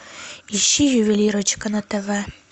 ищи ювелирочка на тв